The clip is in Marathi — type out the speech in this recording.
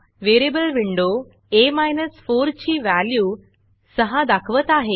Variableवेरियबल विंडो आ 4 ची व्हॅल्यू 6 दाखवत आहे